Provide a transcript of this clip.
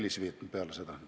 Paul Puustusmaa, palun!